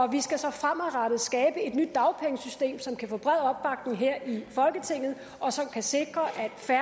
vi skal så fremadrettet skabe et nyt dagpengesystem som kan få bred opbakning her i folketinget og som kan sikre